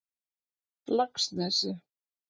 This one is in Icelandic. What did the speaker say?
Laxnesi